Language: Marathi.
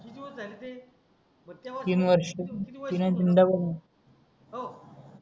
किती होत आहे रे ते बग तेव्हा तीन वर्ष तुमची निवड तीन तीन दा झाले हो